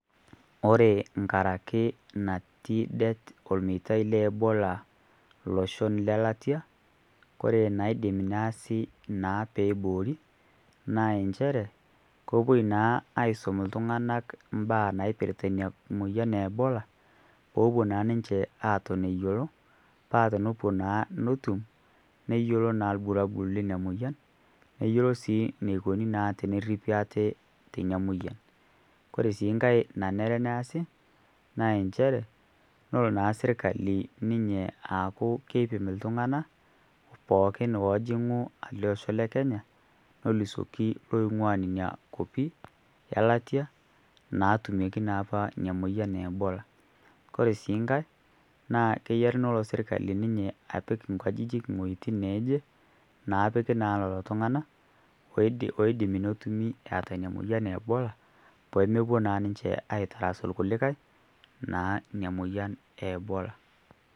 Kore nkaraki nati det ormeitai le Ebola loshon le latia kore naidim neasi naa peeiboori naa enchere kopuoi naa aaisum ltung'ana mbaa naaipirta nia moyian e Ebola poopuo naa ninche aaton eyuolo paa tenepuo naa netum, neyuolo naa irbulabul le inia moyian neyuolo sii neikoni naa tenerripi aate tenia moyian. Kore sii nkae nanere neasi naa enchere nelo naa sirkali ninye aaku keipim ltung'ana pooki oojing'u ale osho le Kenya nolusoki looing'ua nenia kopi e latia naatumieki naa apa nia moyian e Ebola. Kore sii nkae naa keyiari nelo sirkali ninye apik nkajijik ng'ojitin neeje naapiki naa lolo tung'ana oidim netumi eata nia moyian e Ebola peemopuo naa ninche aaitarasu lkulikae naa nia moyian e Ebola.